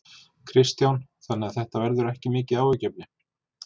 Kristján: Þannig þetta verður ekki mikið áhyggjuefni?